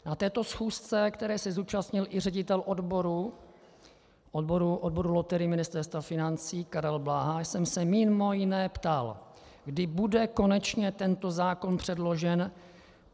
Na této schůzce, které se zúčastnil i ředitel odboru loterií Ministerstva financí Karel Bláha, jsem se mimo jiné ptal, kdy bude konečně tento zákon předložen.